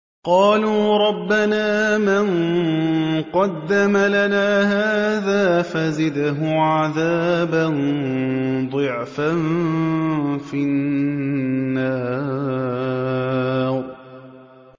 قَالُوا رَبَّنَا مَن قَدَّمَ لَنَا هَٰذَا فَزِدْهُ عَذَابًا ضِعْفًا فِي النَّارِ